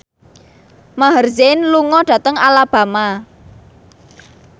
Maher Zein lunga dhateng Alabama